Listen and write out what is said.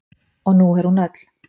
Og nú er hún öll.